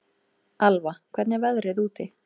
Alva, hvernig er veðrið úti?